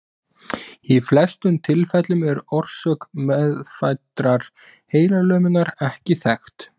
Í flestum tilfellum er orsök meðfæddrar heilalömunar ekki þekkt.